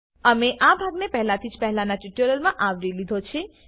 અમે આ ભાગને પહેલાથી જ પહેલાનાં ટ્યુટોરીયલમાં આવરી લીધો છે